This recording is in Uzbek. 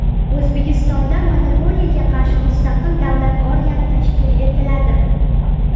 O‘zbekistonda monopoliyaga qarshi mustaqil davlat organi tashkil etiladi.